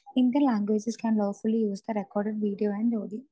speaker 2 for Indian languages can lawfully use the recorded video and audio